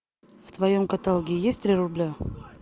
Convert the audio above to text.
в твоем каталоге есть три рубля